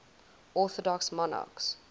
orthodox monarchs